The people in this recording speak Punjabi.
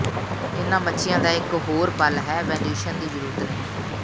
ਇਹਨਾਂ ਮੱਛੀਆਂ ਦਾ ਇੱਕ ਹੋਰ ਪਲ ਹੈ ਵੈਨਿਊਸ਼ਨ ਦੀ ਜ਼ਰੂਰਤ ਨਹੀਂ